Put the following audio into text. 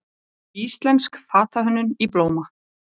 Íslensk fatahönnun í blóma